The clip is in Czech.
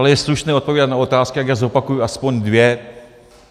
Ale je slušné odpovídat na otázky, tak já zopakuji aspoň dvě.